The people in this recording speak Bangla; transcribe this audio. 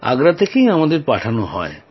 আগ্রা থেকেই আমাদের পাঠানো হয়